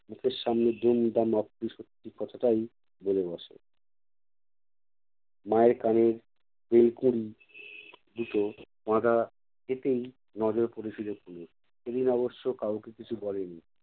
মুখের সামনে দুমদাম অপ্রিয় সত্যি কথাটাই বলে বসে। মায়ের কানের ফুল-কড়ি দুটো বাঁধা যেতেই নজর পড়েছিলো তনুর। সেদিন অবশ্য কাউকে কিছু বলেনি।